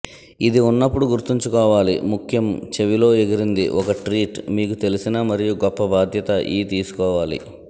ఇది ఉన్నప్పుడు గుర్తుంచుకోవాలి ముఖ్యం చెవిలో ఎగిరింది ఒక ట్రీట్ మీకు తెలిసిన మరియు గొప్ప బాధ్యత ఈ తీసుకోవాలి